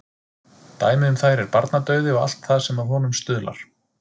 Dæmi um þær er barnadauði og allt það sem að honum stuðlar.